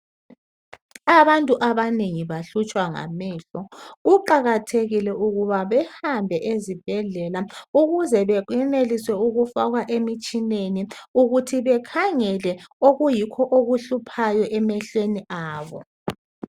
Abantu abanengi bahlutshwa ngamehlo kuqakathekile ukuba behambe ezibhedlela ukuze kweneliswe ukufakwa emitshineni ukuthi bekhangele okuyikho okuhluphayo emehlweni abo.